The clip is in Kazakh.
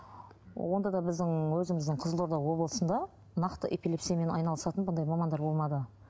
онда да біздің өзіміздің қызылорда облысында нақты эпилепсиямен айналысатын бұндай мамандар болмады